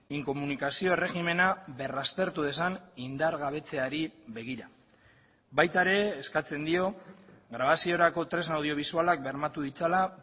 inkomunikazio erregimena berraztertu dezan indargabetzeari begira baita ere eskatzen dio grabaziorako tresna audiobisualak bermatu ditzala